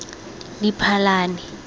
diphalane